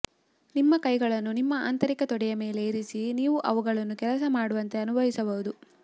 ನಿಮ್ಮ ಕೈಗಳನ್ನು ನಿಮ್ಮ ಆಂತರಿಕ ತೊಡೆಯ ಮೇಲೆ ಇರಿಸಿ ನೀವು ಅವುಗಳನ್ನು ಕೆಲಸ ಮಾಡುವಂತೆ ಅನುಭವಿಸಬಹುದು